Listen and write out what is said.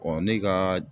ne ka